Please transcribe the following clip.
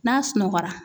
N'a sunɔgɔra